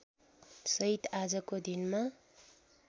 सहित आजको दिनमा